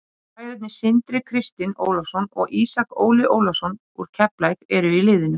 Bræðurnir Sindri Kristinn Ólafsson og Ísak Óli Ólafsson úr Keflavík eru í liðinu.